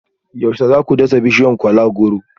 Yaushe za ku dasa bishiyar kola-goro